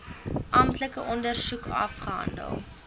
amptelike ondersoek afgehandel